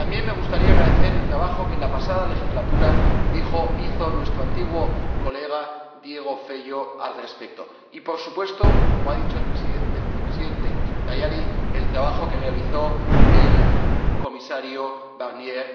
También me gustaría agradecer el trabajo que, en la pasada legislatura, hizo nuestro antiguo colega Diogo Feio al respecto y, por supuesto, como ha dicho el vicepresidente Tajani, el trabajo que realizó el comisario Barnier.